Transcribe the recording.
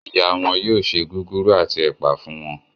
Ìyá wón yóò ṣe Gúgúrú ati ẹpa fún wón.